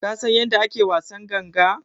Ka San yanda ake wasan ganga?